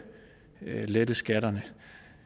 lette skatterne